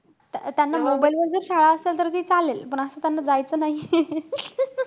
त्या~ त्यांना mobile वर जर शाळा असेल तर चालेल. पण असं त्यांना जायचं नाहीये.